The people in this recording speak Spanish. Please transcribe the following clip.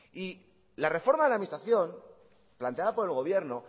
la reforma de la administración planteada por el gobierno